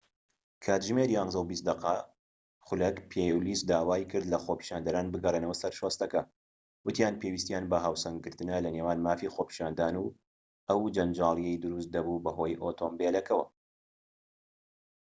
کاتژمێر ١١:٢٠ خولەك پۆلیس داوای کرد لە خۆپیشاندەران بگەڕێنەوە سەر شۆستەکە، وتیان پێویستیان بە هاوسەنگکردنە لەنێوان مافی خۆپیشاندان و ئەو جەنجاڵیەی دروست دەبوو بەهۆی ئۆتۆمبیلەکەوە